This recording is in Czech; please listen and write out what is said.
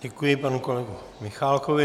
Děkuji panu kolegovi Michálkovi.